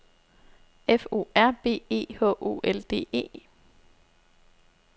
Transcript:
F O R B E H O L D E